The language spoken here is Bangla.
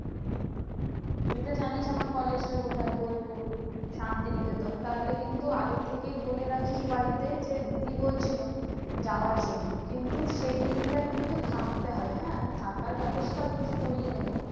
তুই তো জানিস আমার college টা কোথায়? বোলপুর শান্তিনিকেতন। তাহলে কিন্তু আগের থেকেই বলে রাখিস বাড়িতে যে দিদি বলছিল যাওয়ার জন্য। কিন্তু সেই দিনটা কিন্তু থাকতে হবে হ্যাঁ? আমি থাকার ব্যবস্থা তোর করিয়ে দেব।